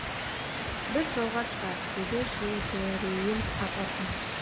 біз жолға шығайық деді жебірейіл апасына